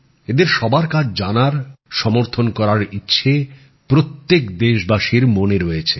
এদের সবার কাজ জানার সমর্থন করার ইচ্ছে প্রত্যেক দেশবাসীর মনে রয়েছে